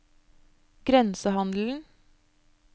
grensehandelen